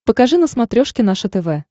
покажи на смотрешке наше тв